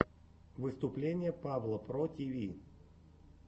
выступление павла про тиви